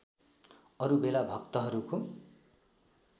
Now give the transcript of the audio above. अरू बेला भक्तहरूको